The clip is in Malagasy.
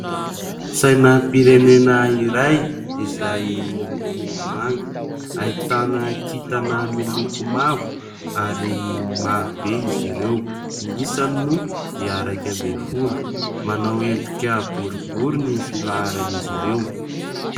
Sainam-pirenena iray izay miloko manga ahitana kintana miloko mavo ary maro be izy ireo. Ny isany moa dia iraika ambin'ny folo manao endrika boribory ny filaharan'izy ireo.